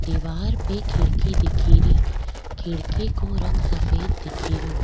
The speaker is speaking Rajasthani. दिवार पे खिड़की दिखेरी खिड़की को रंग सफ़ेद दिखेरो।